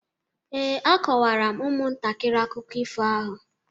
Ee, akọwara m ụmụntakịrị akụkọ ifo ahụ